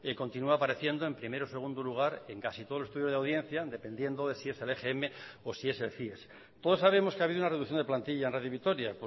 continúa apareciendo en primer o segundo lugar en casi todos los estudios de audiencia dependiendo de si es el o si es el cies todos sabemos que ha habido una reducción de plantilla en radio vitoria